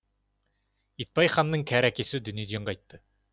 итбай ханның кәрі әкесі дүниеден қайтты